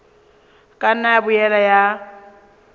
ka nna ya boela ya